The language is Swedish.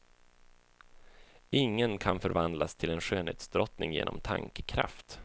Ingen kan förvandlas till en skönhetsdrottning genom tankekraft.